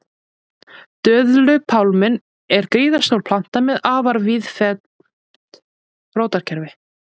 Döðlupálminn er gríðarstór planta með afar víðfeðmt rótarkerfi.